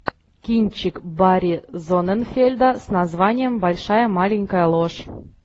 кинчик барри зонненфельда с названием большая маленькая ложь